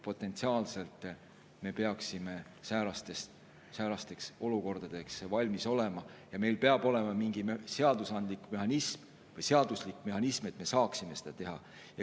Potentsiaalselt me peaksime säärasteks olukordadeks valmis olema ja meil peab olema mingi seaduslik mehhanism, et me saaksime seda teha.